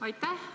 Aitäh!